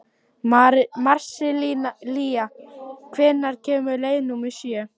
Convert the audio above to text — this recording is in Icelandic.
Marsilía, hvenær kemur leið númer sjö?